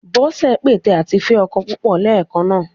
Bọ́sẹ̀ ń pète àti fẹ́ ọkọ púpọ̀ léèkan náà.